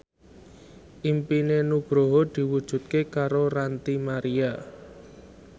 impine Nugroho diwujudke karo Ranty Maria